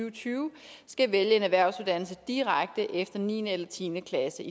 og tyve skal vælge en erhvervsuddannelse direkte efter niende eller tiende klasse